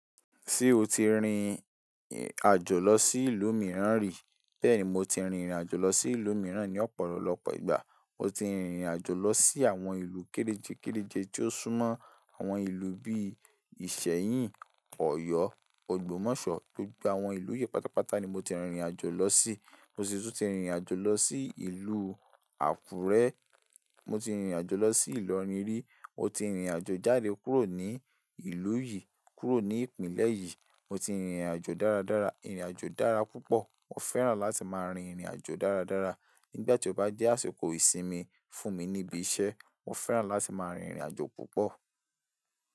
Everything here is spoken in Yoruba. Ṣé o ti rìn àjò lọ sí ìlú mìíràn rí? Bẹ́ẹ̀ni, mo ti rìnrìn àjò lọ sí ìlú mìíràn ní ọ̀pọ̀lọpọ̀ ìgbà. Mo ti rìnrìn àjò lọ sí àwọn ìlú kéreje kéreje tí ó súnmọ́ àwọn ìlú bíi Ìṣẹ́yìn, Ọ̀yọ́, Ògbómọ̀ṣọ́, gbogbo àwọn ìlú yìí pátápátá ni mo ti rìn rìn àjò lọ sí. Mo sì tún ti rìnrìn àjò lọ sí ìlú Àkúrẹ́. Mo ti rìn rìn àjò lọ sí Ìlọrin rí. Mo ti rìnrìn àjò jáde kúrò ní ìlú yìí, kúrò ní ìpínlẹ̀ yìí. Mo ti rìn rìn àjò dáradára, irìn àjò dára púpọ̀. Mo fẹ́ràn láti máa rin ìrìn àjò dáradára. Nígbà tí ó bá jẹ́ àsìkò ìsinmi fún mi níbi iṣẹ́, mo fẹ́ràn láti máa rin irìn àjò púpọ̀.